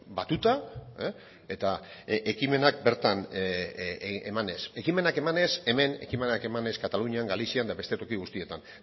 batuta eta ekimenak bertan emanez ekimenak emanez hemen ekimenak emanez katalunian galizian eta beste toki guztietan